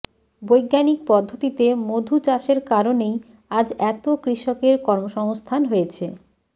বৈজ্ঞানিক পদ্ধতিতে মধু চাষের কারণেই আজ এত কৃষকের কর্মসংস্থান হয়েছে